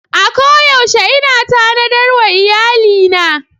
A koyaushe ina tanadar wa iyalina.